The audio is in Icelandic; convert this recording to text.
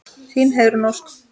Þín, Heiðrún Ósk.